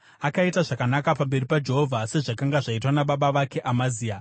Akaita zvakanaka pamberi paJehovha sezvakanga zvaitwa nababa vake Amazia.